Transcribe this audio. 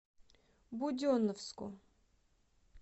буденновску